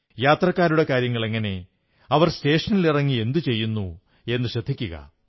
യാത്രക്കാരുടെ കാര്യങ്ങളെങ്ങനെ അവർ സ്റ്റേഷനുകളിലിറങ്ങി എന്തു ചെയ്യുന്നു എന്നു ശ്രദ്ധിക്കുക